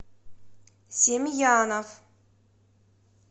семьянов